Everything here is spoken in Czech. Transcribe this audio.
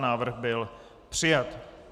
Návrh byl přijat.